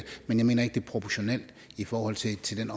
men jeg mener ikke det er proportionalt i forhold til til den